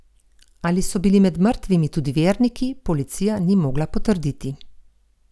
Ali so bili med mrtvimi tudi verniki, policija ni mogla potrditi.